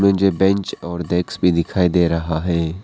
मुझे बेंच और डेस्क भी दिखाई दे रहा है।